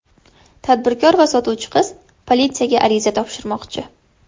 Tadbirkor va sotuvchi qiz politsiyaga ariza topshirmoqchi.